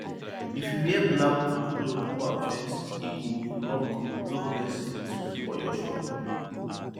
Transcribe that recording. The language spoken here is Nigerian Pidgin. if you wear black cloth go harvest e fit block block blessing for your crop